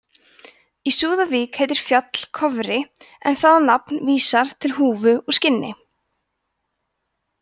í súðavík heitir fjall kofri en það nafn vísar til húfu úr skinni